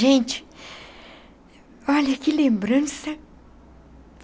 Gente, olha que lembrança.